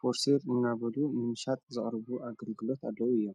ፈርሴር እናበሉ ምንሻጥ ዘቕርቡ ኣገልግሎት ኣለዉ እዮ።